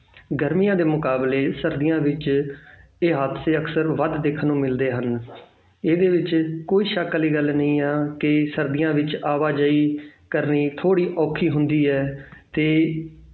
ਗਰਮੀਆਂ ਦੇ ਮੁਕਾਬਲੇ ਸਰਦੀਆਂ ਵਿੱਚ ਇਹ ਹਾਦਸੇ ਅਕਸਰ ਵੱਧ ਦੇਖਣ ਨੂੰ ਮਿਲਦੇ ਹਨ ਇਹਦੇ ਵਿੱਚ ਕੋਈ ਸ਼ੱਕ ਵਾਲੀ ਗੱਲ ਨਹੀਂ ਆ ਕਿ ਸਰਦੀਆਂ ਵਿੱਚ ਆਵਾਜ਼ਾਈ ਕਰਨੀ ਥੋੜ੍ਹੀ ਔਖੀ ਹੁੰਦੀ ਹੈ ਤੇ